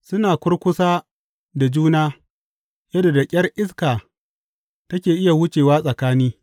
Suna kurkusa da juna yadda da ƙyar iska take iya wucewa tsakani.